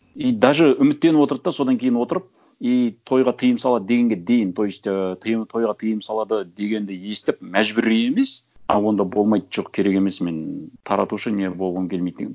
и даже үміттеніп отырды да содан кейін отырып и тойға тыйым салады дегенге дейін то есть ы тойға тыйым салады дегенді естіп мәжбүр емес а онда болмайды жоқ керек емес мен таратушы не болғым келмейді деген